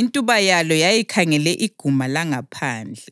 Intuba yalo yayikhangele iguma langaphandle;